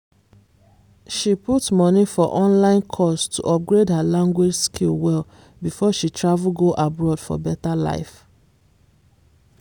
she put money for online course to upgrade her language skill well before she travel go abroad for better life.